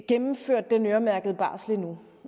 gennemført den øremærkede barsel endnu